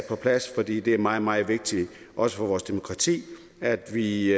på plads for det det er meget meget vigtigt også for vores demokrati at vi